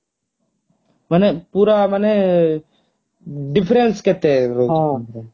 ମାନେ ପୁରା ମାନେ difference କେତେ